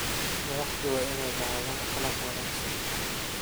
Madaxdu waa inay lahaadaan akhlaaq wanaagsan.